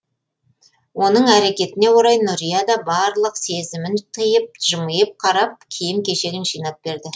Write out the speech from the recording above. оның әрекетіне орай нұрия да барлық сезімін тиып жымиып қарап киім кешегін жинап берді